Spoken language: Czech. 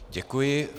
Děkuji.